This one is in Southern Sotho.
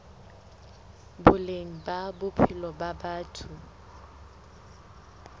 boleng ba bophelo ba batho